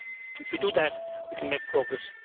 If we do that, we can make progress.